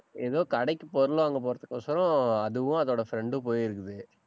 ஏதோ கடைக்கு பொருள் வாங்க போறதுக்கோசரம் அதுவும் அதோட friend போயிருக்குது